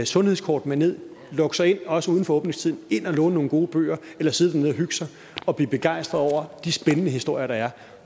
sundhedskort med ned lukke sig ind også uden for åbningstiden og ind og låne nogle gode bøger eller sidde dernede og hygge sig og blive begejstret over de spændende historier der er